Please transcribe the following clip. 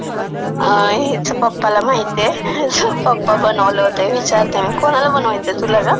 अ.. ह्याच्या पप्पाला माहितीय. पप्पा बनवले होते, विचारते मी. कुणाला बनवायचाय, तुला का?